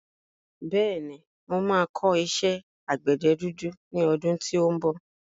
Bẹ́ẹ̀ni, mo máa kọ́ iṣẹ́ àgbẹ̀dẹ dúdú ní ọdún tí ó ń bọ̀.